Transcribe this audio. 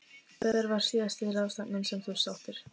Hver var síðasta ráðstefnan sem þú sóttir?